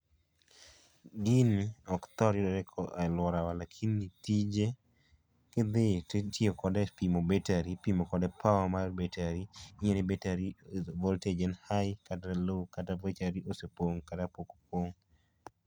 Gini ok thor yudore e alworawa lakini tije kidhi itiyo kode e pimo power mar betari. Ni voltage en high kata low kata betari opong' kata pok opong'.